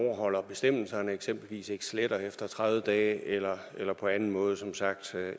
overholder bestemmelserne eksempelvis ikke sletter efter tredive dage eller eller på anden måde som sagt